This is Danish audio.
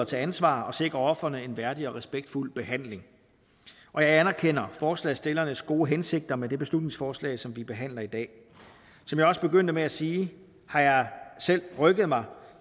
til ansvar og sikre ofrene en værdig og respektfuld behandling og jeg anerkender forslagsstillernes gode hensigter med det beslutningsforslag som vi behandler i dag som jeg også begyndte med at sige har jeg selv rykket mig